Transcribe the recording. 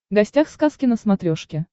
гостях сказки на смотрешке